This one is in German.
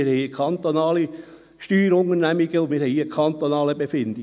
Wir haben kantonale Steuerunternehmungen, und wir haben hier kantonale Befindlichkeiten.